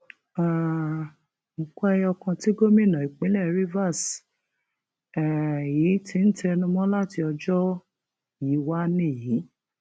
um nǹkan ẹyọ kan tí gómìnà ìpínlẹ rivers um yìí ti ń tẹnumọ láti ọjọ yìí wá nìyí